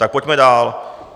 Tak pojďme dál.